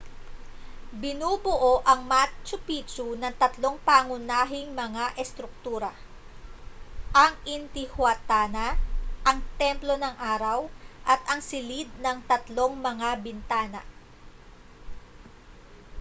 binubuo ang machu pichu ng tatlong pangunahing mga estruktura ang intihuatana ang templo ng araw at ang silid ng tatlong mga bintana